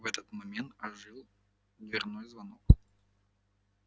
но в этот момент ожил дверной звонок